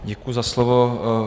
Děkuji za slovo.